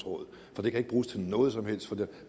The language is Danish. det kan ikke bruges til noget som helst for vi